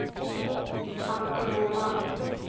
Anton Åman